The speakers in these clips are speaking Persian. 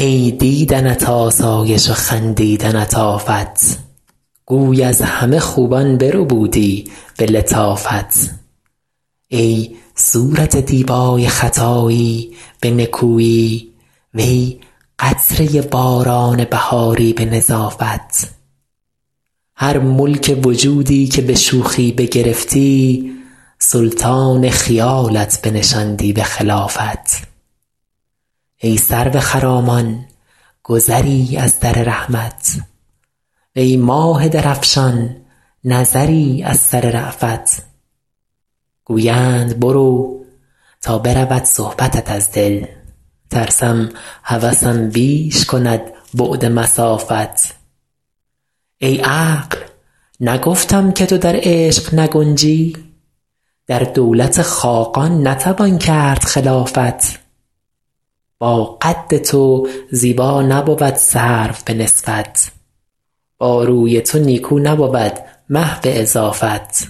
ای دیدنت آسایش و خندیدنت آفت گوی از همه خوبان بربودی به لطافت ای صورت دیبای خطایی به نکویی وی قطره باران بهاری به نظافت هر ملک وجودی که به شوخی بگرفتی سلطان خیالت بنشاندی به خلافت ای سرو خرامان گذری از در رحمت وی ماه درفشان نظری از سر رأفت گویند برو تا برود صحبتت از دل ترسم هوسم بیش کند بعد مسافت ای عقل نگفتم که تو در عشق نگنجی در دولت خاقان نتوان کرد خلافت با قد تو زیبا نبود سرو به نسبت با روی تو نیکو نبود مه به اضافت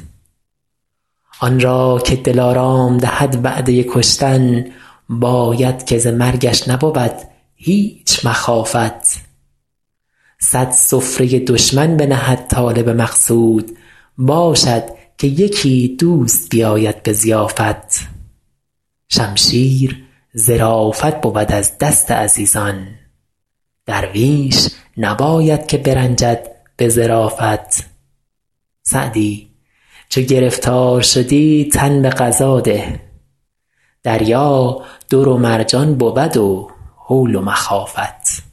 آن را که دلارام دهد وعده کشتن باید که ز مرگش نبود هیچ مخافت صد سفره دشمن بنهد طالب مقصود باشد که یکی دوست بیاید به ضیافت شمشیر ظرافت بود از دست عزیزان درویش نباید که برنجد به ظرافت سعدی چو گرفتار شدی تن به قضا ده دریا در و مرجان بود و هول و مخافت